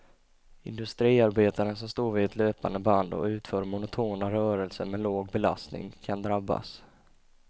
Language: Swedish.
Industriarbetaren som står vid ett löpande band och utför monotona rörelser med låg belastning, kan drabbas.